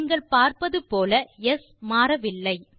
நீங்கள் பார்ப்பது போல ஸ் மாறவில்லை